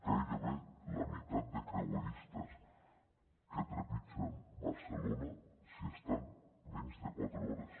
gairebé la meitat de creueristes que trepitgen barcelona s’hi estan menys de quatre hores